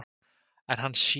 En hann sér.